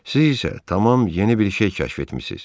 Siz isə tamam yeni bir şey kəşf etmisiz.